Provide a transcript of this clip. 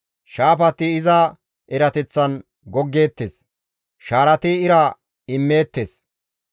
Shaafati iza erateththan goggeettes; shaarati ira immeettes.